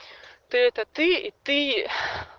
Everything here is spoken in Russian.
ты это ты и ты